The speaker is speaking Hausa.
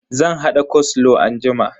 Zan hada koslow anjima.